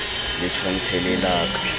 le tshwantshe le la ka